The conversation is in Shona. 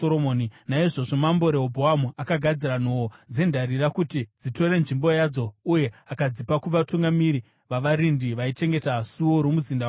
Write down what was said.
Naizvozvo Mambo Rehobhoamu akagadzira nhoo dzendarira kuti dzitore nzvimbo yadzo uye akadzipa kuvatungamiri vavarindi vaichengeta suo romuzinda wamambo.